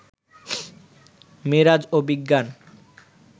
মেরাজ ও বিজ্ঞান